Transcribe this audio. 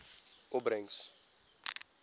opbrengs